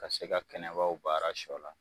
Ka se ka kɛnɛbaw baara sɔ la.